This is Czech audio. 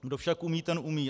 Kdo však umí, ten umí.